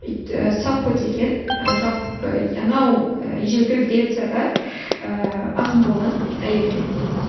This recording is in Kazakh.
і саффо деген і жалпы анау і ежелгі грецияда ііі ақын болған әйел мхм